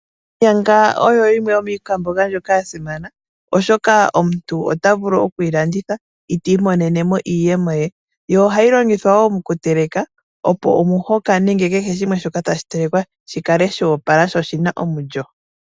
Onyanga oyo yimwe yomiikwamboga ndjoka ya simana, oshoka omuntu ota vulu oku yi landitha eti imonene mo iiyemo ye, yo ohayi longithwa wo moku teleka opo Omuhoka nenge kehe shimwe shi kale sho opala, sho oshina omulyo.